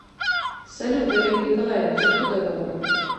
салют олег николаевич откуда родом